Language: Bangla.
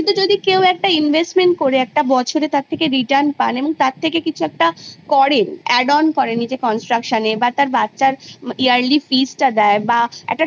কিন্তু investment করে বছরে return পায় তা দিয়ে কিছু করে